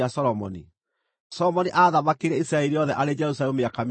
Solomoni aathamakĩire Isiraeli rĩothe arĩ Jerusalemu mĩaka mĩrongo ĩna.